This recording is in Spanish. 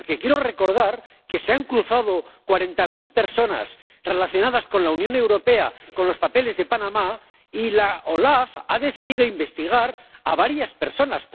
Porque quiero recordar que se han cruzado cuarenta mil personas, relacionadas con la Unión Europea, con los papeles de Panamá y la OLAF ha decidido investigar a varias personas.